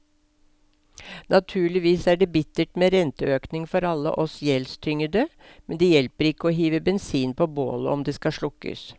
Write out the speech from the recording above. Naturligvis er det bittert med renteøkning for alle oss gjeldstyngede, men det hjelper ikke å hive bensin på bålet om det skal slukkes.